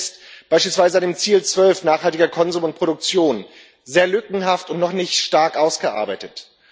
Ich mache das beispielsweise am Ziel 12 nachhaltiger Konsum und Produktion fest sehr lückenhaft und noch nicht stark ausgearbeitet.